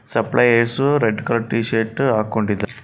supplier ಸು red colour T-shirt ಹಾಕೊಂಡಿದ್ದಾರೆ --